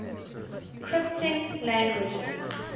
scripting languages